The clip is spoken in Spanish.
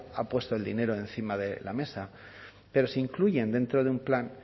ha puesto el dinero encima de la mesa pero se incluyen dentro de un plan